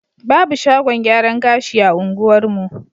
Babu shagon gyaran gashi a unguwarmu.